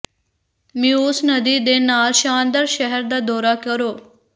Meuse ਨਦੀ ਦੇ ਨਾਲ ਸ਼ਾਨਦਾਰ ਸ਼ਹਿਰ ਦਾ ਦੌਰਾ ਕਰੋ